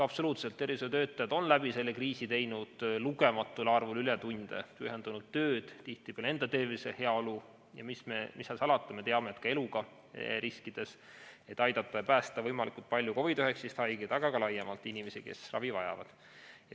Absoluutselt, tervishoiutöötajad on terve selle kriisi jooksul teinud lugematul arvul ületunde, nad on teinud pühendunult tööd, tihtipeale enda tervise, heaolu, ja mis seal salata, me teame, et ka eluga riskides, et aidata ja päästa võimalikult paljusid COVID‑19 haigeid, aga ka laiemalt inimesi, kes ravi vajavad.